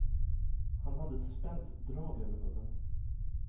Han hade ett spänt drag över munnen.